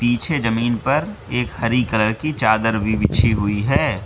पीछे जमीन पर एक हरी कलर की चादर भी बिछी हुई है।